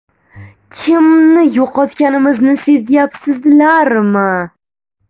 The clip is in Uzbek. Kimni yo‘qotganimizni sezyapsizlarmi?